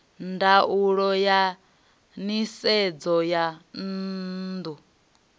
ndaulo ya nisedzo ya dzinnu